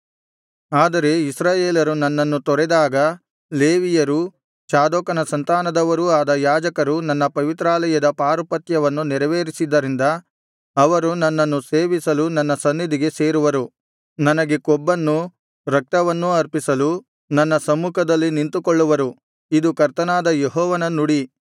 ಆದರೆ ಇಸ್ರಾಯೇಲರು ನನ್ನನ್ನು ತೊರೆದಾಗ ಲೇವಿಯರೂ ಚಾದೋಕನ ಸಂತಾನದವರೂ ಆದ ಯಾಜಕರು ನನ್ನ ಪವಿತ್ರಾಲಯದ ಪಾರುಪತ್ಯವನ್ನು ನೆರವೇರಿಸಿದ್ದರಿಂದ ಅವರು ನನ್ನನ್ನು ಸೇವಿಸಲು ನನ್ನ ಸನ್ನಿಧಿಗೆ ಸೇರುವರು ನನಗೆ ಕೊಬ್ಬನ್ನೂ ರಕ್ತವನ್ನೂ ಅರ್ಪಿಸಲು ನನ್ನ ಸಮ್ಮುಖದಲ್ಲಿ ನಿಂತುಕೊಳ್ಳುವರು ಇದು ಕರ್ತನಾದ ಯೆಹೋವನ ನುಡಿ